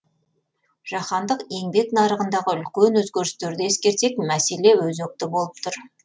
жаһандық еңбек нарығындағы үлкен өзгерістерді ескерсек мәселе өзекті болып тұр